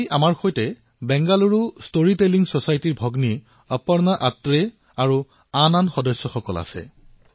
আজি আমাৰ সৈতে বেংগালুৰু ষ্টৰী টেলিং চচাইটি ভগ্নী অপৰ্ণা আথ্ৰেয় আৰু অন্য সদস্যসমূহ আছে